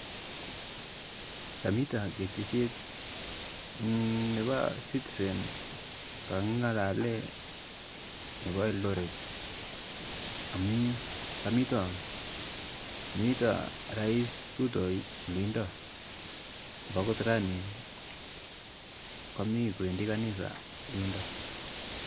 Kamito ketesiet nepa citizen kakingalale nepa eldoret amu kamito rais Ruto olindo mbakot rani kamii kwendi kanisa yundo